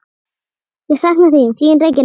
Ég sakna þín, þín Regína.